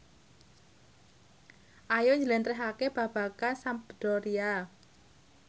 Ayu njlentrehake babagan Sampdoria